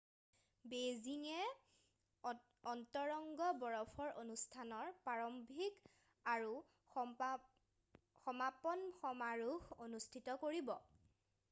বেইজিংয়ে অন্তৰংগ বৰফৰ অনুষ্ঠানৰ প্ৰাৰম্ভিক আৰু সমাপন সমাৰোহ অনুষ্ঠিত কৰিব